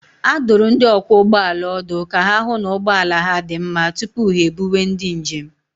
A dụrụ ndị ọkwọ ụgbọala ọdụ ka ha hụ na ụgbọ ala ha dị mma tupu ha ebuwe ndị njem